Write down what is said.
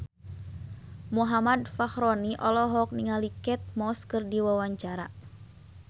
Muhammad Fachroni olohok ningali Kate Moss keur diwawancara